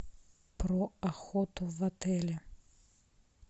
про охоту в отеле